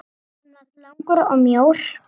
Hann var langur og mjór.